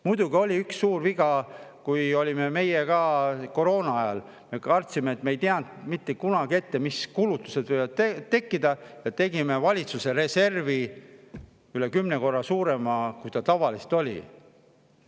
Muidugi oli üks suur viga, kui olime meie ka, koroona ajal, ja kartsime, et me ei tea mitte kunagi ette, mis kulutused võivad tekkida, nii et me tegime valitsuse reservi üle kümne korra suurema, kui see tavaliselt oli.